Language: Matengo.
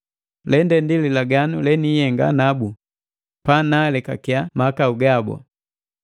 “Lende ndi lilaganu le niihenga nabu pa naalekakia mahakau gabu.”